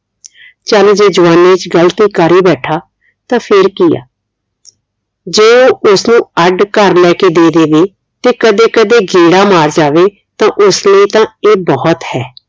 ਚਲ ਜੇ ਜਵਾਨੀ ਚ ਗ਼ਲਤੀ ਕਰ ਹੀ ਬੈਠਾ ਤਾ ਫੇਰ ਕਿ ਆ ਜੇ ਉਹ ਉਸਨੂੰ ਅੱਡ ਘਰ ਲੈ ਕੇ ਦੇ ਦੇਵੇ ਤੇ ਕਦੇ ਕਦੇ ਗੇੜਾ ਮਾਰ ਜਾਵੇ ਤਾ ਉਸ ਲਈ ਤਾਂ ਇਹ ਬਹੁਤ ਹੈ